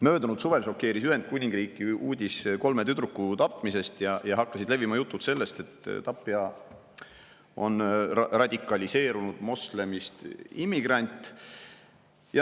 Möödunud suvel šokeeris Ühendkuningriiki uudis kolme tüdruku tapmisest ja hakkasid levima jutud, et tapja on radikaliseerunud moslemist immigrant.